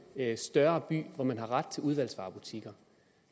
større by hvor man har ret til udvalgsvarebutikker